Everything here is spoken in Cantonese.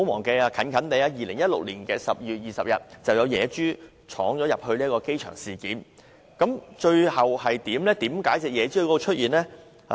最近，於2016年12月20日便有野豬闖入機場，最後如何處理？